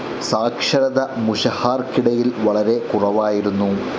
സാക്ഷരത മുഷഹാർക്കിടയിൽ വളരെ കുറവായിരുന്നു.